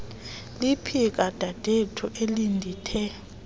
liphika dadethu elindithe